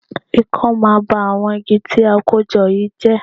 Ikán máa ba àwọn igi tí a kó jọ yìí jẹ́